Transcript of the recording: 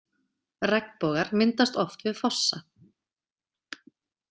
Regnbogar myndast oft við fossa.